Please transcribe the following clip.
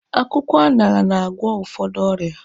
Akwụkwọ aṅara na-agwụ ụfọdụ ọrịa.